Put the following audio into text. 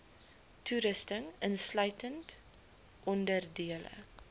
toerusting insluitend onderdele